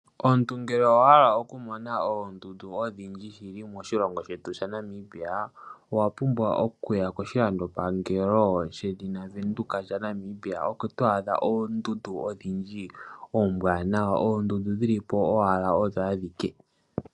Omuntu ngele owa hala okumona oondundu odhindji shili moshilongo shetu shaNamibia owa pumbwa okuya koshilandopangelo shedhina oVenduka shaNamibia oko to adha oondundu odhindji oombwanawa oondundu dhilipo owala odho adhike.